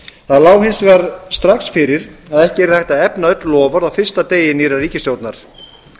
það lá hins vegar strax fyrir að ekki yrði hægt að efna öll loforð á fyrsta degi nýrrar ríkisstjórnar